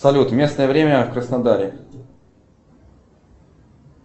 салют местное время в краснодаре